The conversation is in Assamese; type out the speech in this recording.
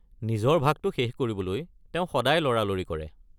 নিজৰ ভাগটো শেষ কৰিবলৈ তেওঁ সদায় লৰালৰি কৰে।